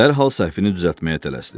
Dərhal səhvini düzəltməyə tələsdi.